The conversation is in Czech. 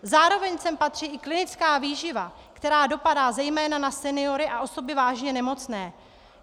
Zároveň sem patří i klinická výživa, která dopadá zejména na seniory a osoby vážně nemocné.